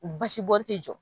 Basibɔn tɛ jɔ